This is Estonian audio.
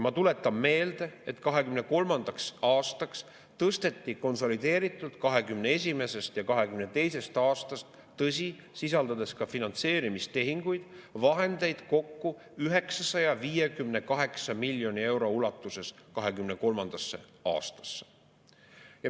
Ma tuletan meelde, et 2023. aastasse tõsteti konsolideeritult 2021. ja 2022. aastast – tõsi, sisaldades ka finantseerimistehinguid – vahendeid kokku 958 miljoni euro ulatuses.